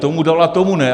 Tomu dala, tomu ne.